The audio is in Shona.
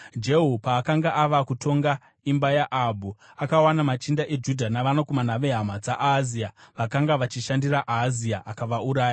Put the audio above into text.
Jehu paakanga ava kutonga imba yaAhabhu akawana machinda eJudha navanakomana vehama dzaAhazia, vakanga vachishandira Ahazia, akavauraya.